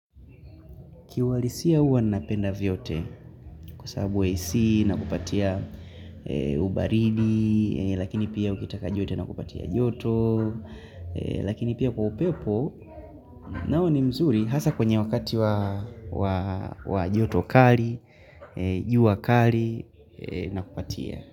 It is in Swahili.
Kiwalisia uwa napenda vyote kusababu AC inakupatia ubaridi, lakini pia ukitaka joto na kupatia joto, lakini pia kwa upepo nao ni mzuri hasa kwenye wakati wa joto kari, jua kari na kupatia.